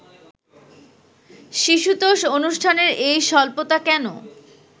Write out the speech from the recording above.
শিশুতোষ অনুষ্ঠানের এই স্বল্পতা কেন